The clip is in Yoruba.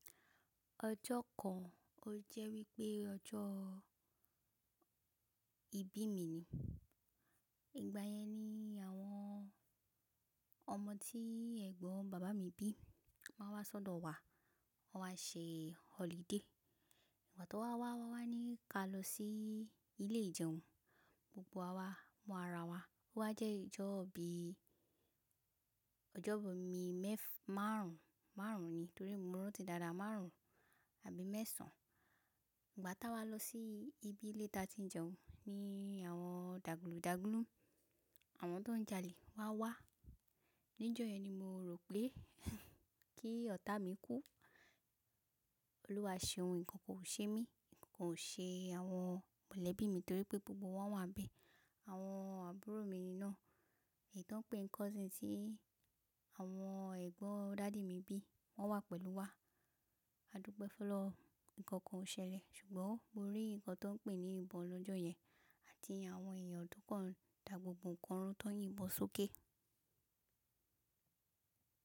Ọjọ́ kan o jẹ́ wípé ọjọ́ ìbí mi ni. Ìgbà yẹn ni àwọn ọmọ tí ẹ̀gbọ́n bàbá mi bí máa wá sọ́dọ̀ wa, wọ́n wá ṣe holiday. Ìgbà tí wọ́n wá wá wá ní ka lọsí ilé ìjẹun, gbogbo wa mú ara wa. Ó wá jẹ́ ìjọ́ bi ìjọ́bì mi mẹ́fà márùn ún, márùn ún ni torí mo rántí dáadáa márùn ún àbí mẹ́sàn-án. Ìgbà táa wá lọ sí ibi ilé ta tí ń jẹun ni àwọn dàgbulù dàgbulù, àwọn tó ń jalè wá wá. Ni ìjọ yẹn ni mo rò pé kí ọ̀tá mi kú. Olúwa ṣe ohun, ǹkan kò ṣe mí, kò ṣe àwọn mọ̀lẹ́bí mi torí pé gbogbo wọn wà níbẹ̀. Àwọn àbúrò mi ni iná èyí tó ń pé n cousin tí àwọn ẹ̀gbọ́n dádì mi bí wọ́n wà pẹ̀lú wa. Adùpe f'oloun ǹkan kan ò ṣẹlẹ̀ ṣùgbọ́n mo rí ǹkan tó ń pé ní ìbọn lọ́jọ́ yẹn àti àwọn èèyàn tó kàn dá gbogbo ǹkan ró tó ń yìnbọn sókè.